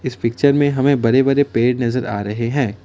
इस पिक्चर में हमें बड़े बड़े पेड़ नजर आ रहे हैं।